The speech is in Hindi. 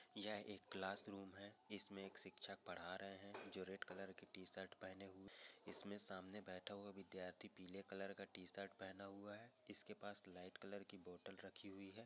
यह एक क्लास-रूम है इसमें एक शिक्षसक पढ़ रहे हैं जो डेर_कलर कि टी_शर्ट पहने हुए हैं इसमें सामने बैठ हुआ विद्यार्थी पीले कलर का टी_शर्ट पहन हुआ है पास लाइट-कलर कि बोतल राखी हुई है यह सर कि और देख रहा है यह चश्मा लगाया हुआ विद्यार्थी है ।